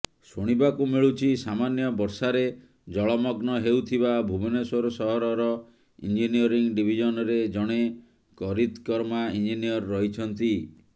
ଶୁଣିବାକୁ ମିଳୁଛି ସାମାନ୍ୟ ବର୍ଷାରେ ଜଳମଗ୍ନ ହେଉଥିବା ଭୁବନେଶ୍ୱର ସହରର ଇଞ୍ଜିନିୟରିଂ ଡିଭିଜନରେ ଜଣେ କରିତ୍କର୍ମା ଇଞ୍ଜିନିୟର ରହିଛନ୍ତି